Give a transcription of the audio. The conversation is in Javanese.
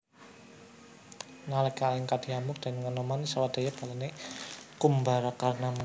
Nalika Alengka diamuk déning Anoman sawadya balane Kumbakarna maju perang